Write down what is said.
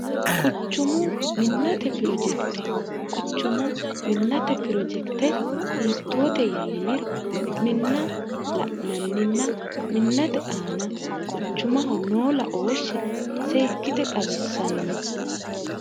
quchumu minnate pirojekite quchumu minnate pirojekiteri hiittooteyya yiniro minna la'nanninna minnate aana quchumaho noola ooshshe seekkite xawissanno